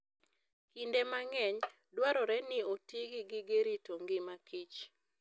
Kinde mang'eny, dwarore ni oti gi gige rito ngima kich.